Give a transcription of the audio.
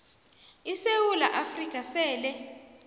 isewula afrika sele